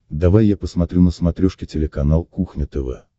давай я посмотрю на смотрешке телеканал кухня тв